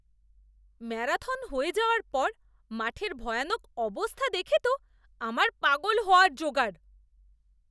Marathon হয়ে যাওয়ার পর মাঠের ভয়ানক অবস্থা দেখে তো আমার পাগল হওয়ার জোগাড়!